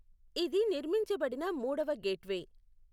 ఇది నిర్మించబడిన మూడవ గేట్వే.